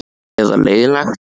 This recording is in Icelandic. Eða leiðinlegt?